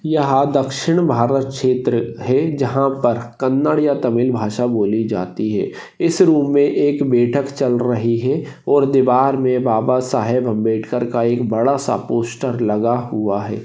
यहा दक्षिण भारत क्षेत्र है जहां पर कन्नड़ या तमिल भाषा बोली जाती है इस रूम मे एक बैठक चल रही है और दीवार मे बाबा साहेब आंबेडकर का एक बड़ा सा पोस्टर लगा हुआ है।